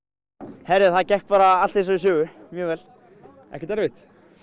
heyrðu það gekk bara allt eins og í sögu mjög vel ekkert erfitt